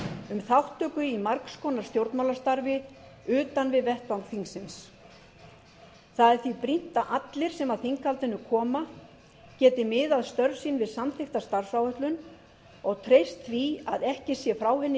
um þátttöku í margs konar stjórnmálastarfi utan við vettvang þingsins það er því brýnt að allir sem að þinghaldinu koma geti miðað störf sín við samþykkta starfsáætlun og treyst því að ekki sé frá henni